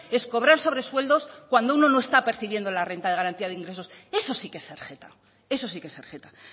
es cobrar sobresueldos cuando uno no está percibiendo la renta de garantía de ingresos eso sí que es ser jeta eso sí que es ser jeta